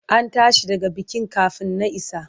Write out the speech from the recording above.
An tashi daga bikin kafin na isa.